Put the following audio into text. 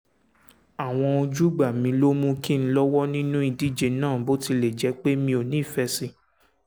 àwọn ojúgbà mi ló mú kí n lọ́wọ́ nínú ìdíje náà bó tilẹ̀ jẹ́ pé mi ò nífẹ̀ẹ́ sí i